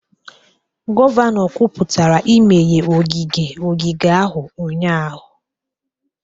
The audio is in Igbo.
Gọvanọ kwuputara imeghe ogige ogige ahụ ụnyahụ